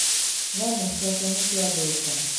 Nyanya ciake nĩciathũka